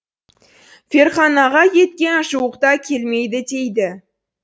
ферғанаға кеткен жуықта келмейді дейді